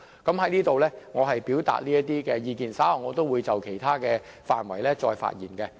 我在此表達這些意見到此為止，稍後會就其他範圍再發言。